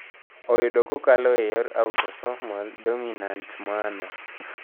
Oyudo kokalo e yor autosomal dominant manner.